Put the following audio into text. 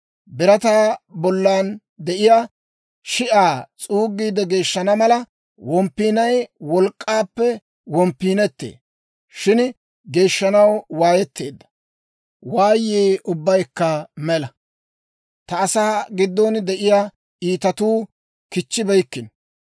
Birataa bollan de'iyaa shi'aa s'uuggiide geeshshana mala, womppiinay wolk'k'aappe womppiinettee. Shin geeshshanaw waayeteedda waayii ubbaykka mela; ta asaa giddon de'iyaa iitatuu kichchibeykkino.